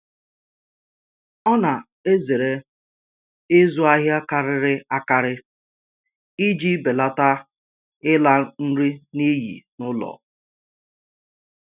Ọ na-ezere ịzụ ahịa karịrị akarị iji belata ịla nri n'iyi n'ụlọ